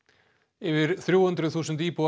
yfir þrjú hundruð þúsund íbúar